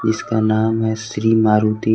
इसका नाम है श्री मारुति।